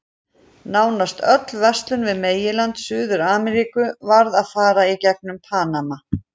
Nánast öll verslun við meginland Suður-Ameríku varð að fara í gegnum Panama.